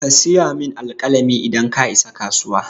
Ka siyo min alƙalami idan ka isa kasuwa.